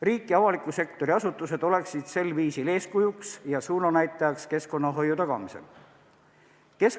Riik ja avaliku sektori asutused oleksid sel viisil eeskujuks ja suunanäitajaks keskkonnahoiu tagamisel.